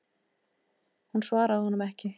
Hún svaraði honum ekki.